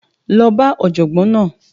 Lọ bá ọ̀jọ̀gbọ́n náà!